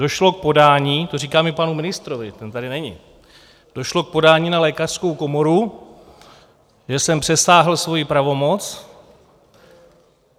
Došlo k podání - to říkám i panu ministrovi, ten tady není - došlo k podání na Lékařskou komoru, že jsem přesáhl svoji pravomoc.